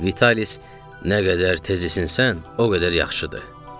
Vitalis "Nə qədər tez isinsən, o qədər yaxşıdır" dedi.